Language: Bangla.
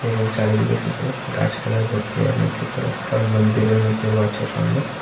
এবং চারিদিকে শুধু গাছপালায় ভর্তি এবং ছোট একটা মন্দিরের মতেও আছে সামনে।